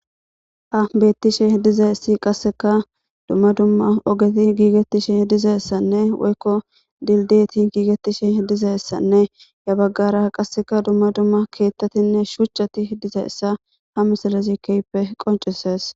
A bettishe dizayssi qasseka dumma dumma ogeti giigettishe dizayessanne woykko dildeti giigettishe dizayessanne ya baggara qasseka dumma dumma keettatinne shuchchati dizayssa ha misallazi keyppe qoncisees.